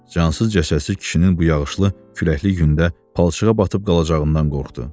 Cansız cəsədsiz kişinin bu yağışlı, küləkli gündə palçığa batıb qalacağından qorxdu.